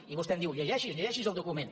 i vostè em diu llegeixi’s llegeixi’s el document